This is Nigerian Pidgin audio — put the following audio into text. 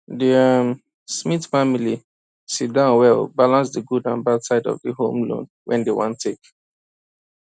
the um smith family sit down well balance the good and bad side of the home loan wey dem wan take